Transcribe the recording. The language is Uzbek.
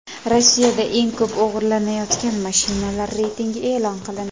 Rossiyada eng ko‘p o‘g‘irlanayotgan mashinalar reytingi e’lon qilindi.